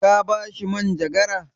Ka ba shi manjagara?